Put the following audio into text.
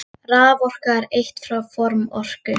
Raforka er eitt form orku.